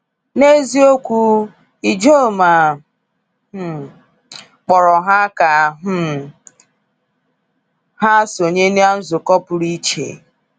“N’eziokwu, Ijoma um kpọrọ ha ka um ha sonye na nzukọ pụrụ iche.”